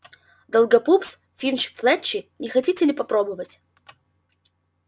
долгопупс финч-флетчли не хотите ли попробовать